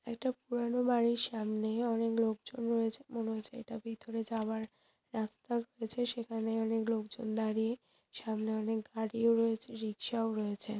একটা পুরানো বাড়ির সামনে অনেক লোক জন রয়েছে মনে হচ্ছে এটা ভিতরে যাওয়ার রাস্তা রয়েছে সেখানে অনেক লোকজন দাঁড়িয়ে সামনে অনেক গাড়ি ও রয়েছে রিক্সা ও রয়েছে।